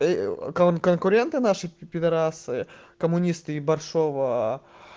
конкуренты наши пидарасы коммунисты ибаршова